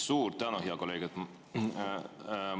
Suur tänu, hea kolleeg!